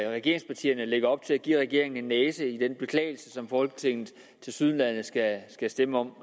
regeringspartierne lægger op til at give regeringen en næse i den beklagelse som folketinget tilsyneladende skal stemme om